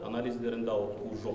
анализдерінде ауытқу жоқ